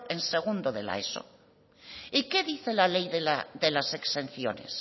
en segundo eso y qué dice el decreto de las exenciones